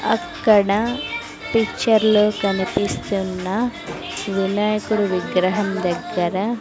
అక్కడ పిక్చర్ లో కనిపిస్తున్న వినాయకుడు విగ్రహం దగ్గర.